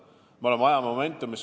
Me oleme teises momentum'is.